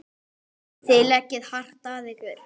Þið leggið hart að ykkur.